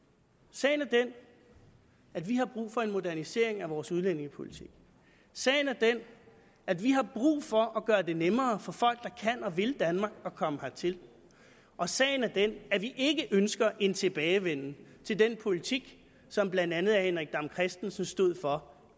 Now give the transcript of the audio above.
sagen er den at vi har brug for en modernisering af vores udlændingepolitik sagen er den at vi har brug for at gøre det nemmere for folk der kan og vil danmark at komme hertil og sagen er den at vi ikke ønsker en tilbagevenden til den politik som blandt andet herre henrik dam kristensen stod for